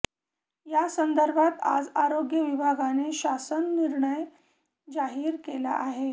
त्यासंदर्भात आज आरोग्य विभागाने शासन निर्णय जाहीर केला आहे